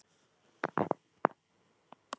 Hún veit ekki af hverju.